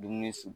Dumuni